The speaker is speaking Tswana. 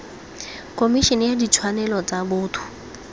khomišene ya ditshwanelo tsa botho